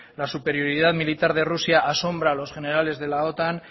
la superioridad militar de rusia asombra a los generales de la otan